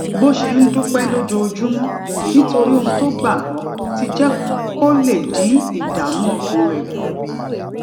bó ṣe ń dúpé lójoojúmó nítorí ohun tó gbà gbó ti jé kó lè dín ìdààmú ọkàn rè kù